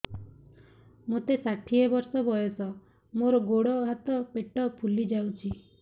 ମୋତେ ଷାଠିଏ ବର୍ଷ ବୟସ ମୋର ଗୋଡୋ ହାତ ପେଟ ଫୁଲି ଯାଉଛି